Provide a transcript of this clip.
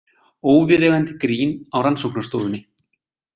Óviðeigandi grín á rannsóknarstofunni